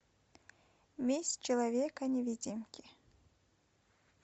месть человека невидимки